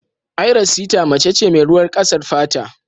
Ayra sita mace ce mai ruwan ƙasar fata.